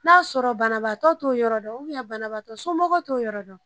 N'a sɔrɔ banabaatɔ t'o yɔrɔ dɔn banabagatɔ somɔgɔ t'o yɔrɔ dɔn.